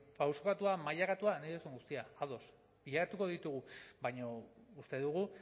pausokatua mailakatua nahi duzun guztia ados bilatuko ditugu baina uste dugu